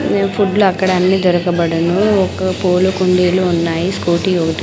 ఫుడ్లు అక్కడ అన్ని దొరకబడును ఒక్క పూల కుండీలు ఉన్నాయి స్కూటీ ఒకటి--